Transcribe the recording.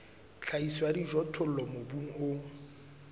tlhahiso ya dijothollo mobung o